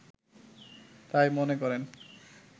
তাই মনে করেন